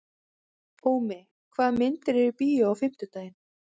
Ómi, hvaða myndir eru í bíó á fimmtudaginn?